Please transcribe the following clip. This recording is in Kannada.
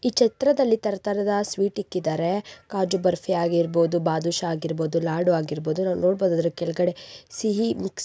ಈ ಛತ್ರದಲ್ಲಿ ತರ ತರಹದ ಸ್ವೀಟ್ ಅನ್ನು ಇಕ್ಕಿದ್ದಾರೆ ಕಾಜು ಬರ್ಫಿ ಆಗಿರಬಹುದು ಬಾದುಷಾ ಆಗಿರಬಹುದು ಲಾಡು ಆಗಿರಬಹುದು ನಾವು ನೋಡಬಹುದು ಸಿಹಿ ಇದೆ